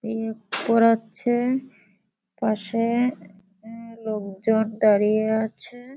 এ পড়াচ্ছে পাশে এ লোকজন দাঁড়িয়ে আছে।